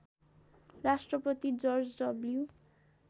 Rashtrapati George W